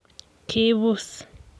Kibuus.